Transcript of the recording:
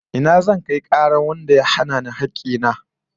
Ina zan kai karar wanda ya hana ni hakki na?